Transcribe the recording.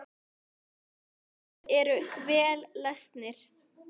Báðir eru vel lesnir.